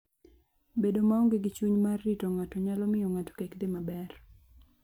Bedo maonge gi chuny mar rito ng'ato nyalo miyo ng'ato kik dhi maber.